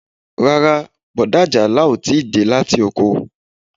Rárá, bọ̀dá Ajala o ti dé láti oko